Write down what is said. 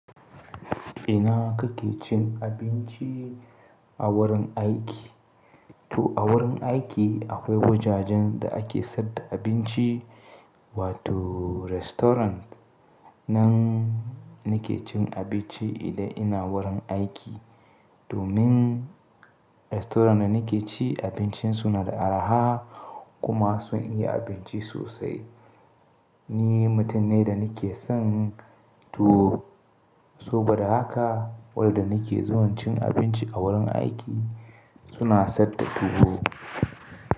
Ina kake cin abinci a wurin aiki? To a wurin aiki akwai wajajen da ake saida abinci wato restaurant. Nan nake cin abinci idan ina wurin aiki. Domin restaurant da nake ci abincin suna da araha kuma sun iya abinci sosai. Ni mutum ne da nake son tuwo. Saboda haka waɗanda nake zuwa cin abinci a wurin aiki suna saida tuwo.